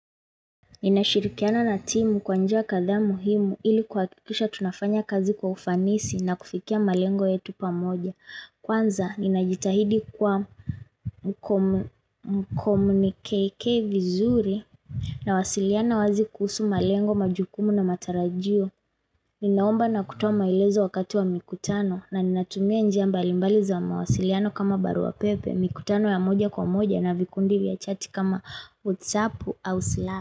Ninashirikiana na timu kwanjia katha muhimu ili kuha kikisha tunafanya kazi kwa ufanisi na kufikia malengo yetu pamoja. Kwanza, ninajitahidi kwa mkomunikeike vizuri na wasiliana wazi kuhusu malengo majukumu na matarajio. Ninaomba na kutama ilezo wakati wa mikutano na ninatumia njiamba limbali za mawasiliano kama baru wa pepe, mikutano ya moja kwa moja na vikundi vya chati kama WhatsApp ou Slack.